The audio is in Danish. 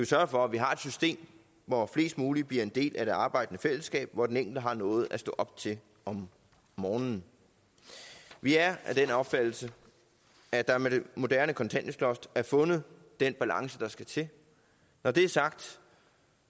sørge for at vi har et system hvor flest mulige bliver en del af det arbejdende fællesskab hvor den enkelte har noget at stå op til om morgenen vi er af den opfattelse at der med det moderne kontanthjælpsloft er fundet den balance der skal til når det er sagt